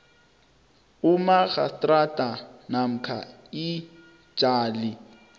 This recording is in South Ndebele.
umarhastrada namkha ijaji